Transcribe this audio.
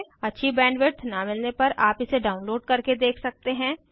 अच्छी बैंडविड्थ न मिलने पर आप इसे डाउनलोड करके देख सकते हैं